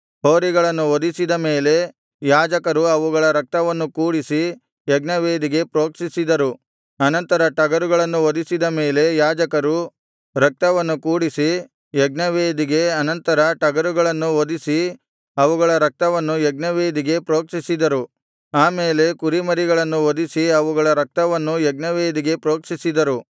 ಹೋರಿಗಳನ್ನು ವಧಿಸಿದ ಮೇಲೆ ಯಾಜಕರು ಅವುಗಳ ರಕ್ತವನ್ನು ಕೂಡಿಸಿ ಯಜ್ಞವೇದಿಗೆ ಪ್ರೋಕ್ಷಿಸಿದರು ಅನಂತರ ಟಗರುಗಳನ್ನು ವಧಿಸಿದ ಮೇಲೆ ಯಾಜಕರು ರಕ್ತವನ್ನು ಕೂಡಿಸಿ ಯಜ್ಞವೇದಿಗೆ ಅನಂತರ ಟಗರುಗಳನ್ನು ವಧಿಸಿ ಅವುಗಳ ರಕ್ತವನ್ನು ಯಜ್ಞವೇದಿಗೆ ಪ್ರೋಕ್ಷಿಸಿದರು ಆ ಮೇಲೆ ಕುರಿಮರಿಗಳನ್ನು ವಧಿಸಿ ಅವುಗಳ ರಕ್ತವನ್ನೂ ಯಜ್ಞವೇದಿಗೆ ಪ್ರೋಕ್ಷಿಸಿದರು